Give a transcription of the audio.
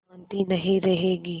शान्ति नहीं रहेगी